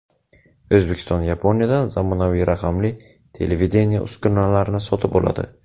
O‘zbekiston Yaponiyadan zamonaviy raqamli televideniye uskunalarini sotib oladi.